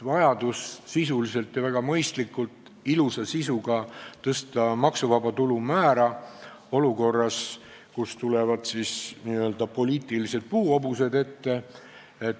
Vajadus sisuliselt ja väga mõistlikult, ilusa sisuga tõsta maksuvaba tulu määra olukorras, kus tulevad siis n-ö poliitilised puuhobused ette.